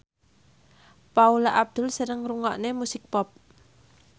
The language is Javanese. Paula Abdul seneng ngrungokne musik pop